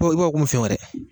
Bo i b'a fɔ konmi fɛn wɛrɛ